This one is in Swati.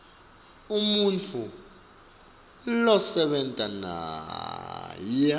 umuntfu losebenta naye